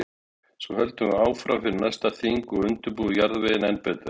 Svo höldum við áfram fyrir næsta þing og undirbúum jarðveginn enn betur.